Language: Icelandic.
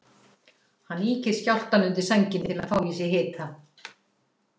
Hann ýkir skjálftann undir sænginni til að fá í sig hita.